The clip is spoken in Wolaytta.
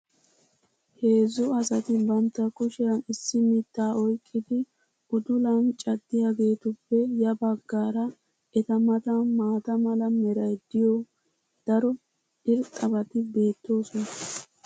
Heezzu asati bantta kushiyan issi mitaa oyqqidi uddulan caddiyageetuppe ya bagaara eta matan maata mala meray diyo daro irxxabati beetoosona.